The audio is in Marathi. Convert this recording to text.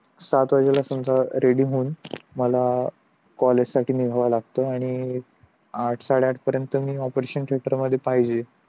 सात वाजेल असमझा रेडी होऊन मला कॉलेज साठी निघावं लागत आणि आठ साडे आठ पर्यंत मी ऑपरेशन थेटर मध्ये पाहिजे